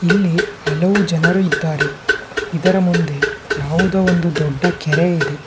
ಇಲ್ಲಿ ಹಲವು ಜನರು ಇದ್ದಾರೆ ಇದರ ಮುಂದೆ ಯಾವುದೋ ಒಂದು ದೊಡ್ಡ ಕೆರೆ ಇದೆ.